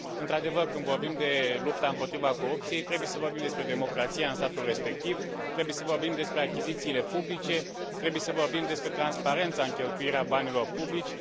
Într adevăr, când vorbim de lupta împotriva corupție trebuie să vorbim despre democrația în statul respectiv, trebuie să vorbim despre achizițiile publice, trebuie să vorbim despre transparența în cheltuirea banilor publici